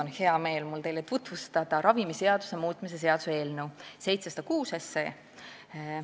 Nüüd on mul hea meel tutvustada teile ravimiseaduse muutmise seaduse eelnõu 706.